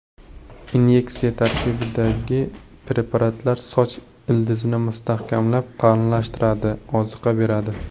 Inyeksiya tarkibidagi preparatlar soch ildizini mustahkamlab, qalinlashtiradi, oziqa beradi.